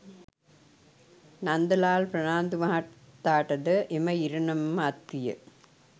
නන්දලාල් ප්‍රනාන්දු මහතාට ද එම ඉරණම ම අත්විය